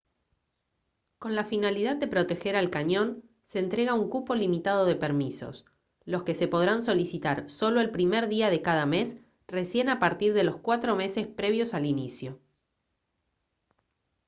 con la finalidad de proteger al cañón se entrega un cupo limitado de permisos los que se podrán solicitar solo el primer día de cada mes recién a partir de los cuatro meses previos al inicio